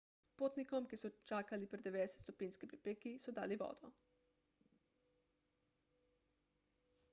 potnikom ki so čakali pri 90-stopinjski f pripeki so dali vodo